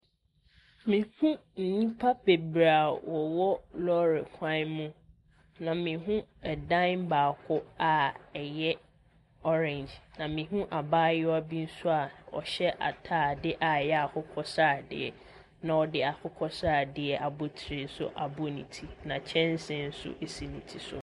Mehunu nnipa bebree a wɔwɔ lɔɔre kwan mu. Na mehunu dan baako a ɛyɛ orange, na mehunu abaayewa bi nso a ɔhyɛ atadeɛ a ɛyɛ akokɔsradeɛ. Na ɔde akokɔsradeɛ abotire nso abɔ ne tu, na kyɛnsee nso so ne ti so.